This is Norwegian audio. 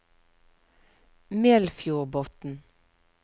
Melfjordbotn